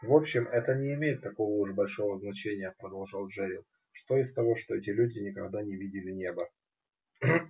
в общем это не имеет такого уж большого значения продолжал джерилл что из того что эти люди никогда не видели неба